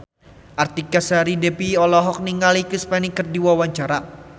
Artika Sari Devi olohok ningali Chris Pane keur diwawancara